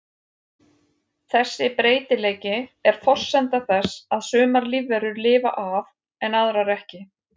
Þessi breytileiki er forsenda þess að sumar lífverur lifa af en aðrar ekki.